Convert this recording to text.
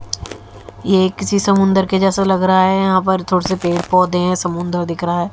ये एक किसी समुंदर के जैसा लग रहा है यहां पर थोड़े से पेड़ पौधे हैं समुंदर दिख रहा है।